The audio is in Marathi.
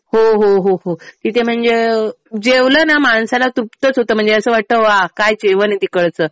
हो हो हो. तिथे म्हणजे जेवलं ना माणसाला तृप्तच होतं. म्हणजे असं वाटतं वा काय जेवण आहे तिकडचं.